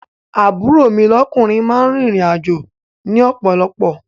Àbúrò mi lọ́kúnrin máa ń rìn ìrìn àjò ni ọ̀pọ̀lọ̀pọ̀